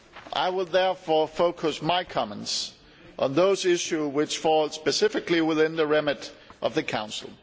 I will therefore focus my comments on those issues which fall specifically within the remit of the Council.